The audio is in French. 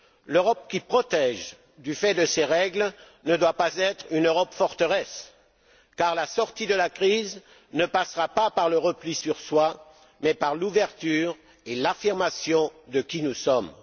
L'Europe qui protège, du fait de ses règles, ne doit pas être une Europe forteresse, car la sortie de la crise ne passera pas par le repli sur soi, mais par l'ouverture et l'affirmation de qui nous sommes.